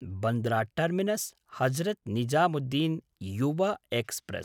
Bandra terminus Hazrat Nizamuddin Yuva express